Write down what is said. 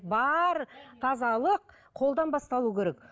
бар тазалық қолдан басталу керек